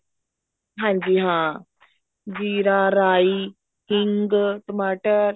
ਹਾਂਜੀ ਹਾਂ ਜ਼ੀਰਾ ਰਾਈ ਹਿੰਗ ਟਮਾਟਰ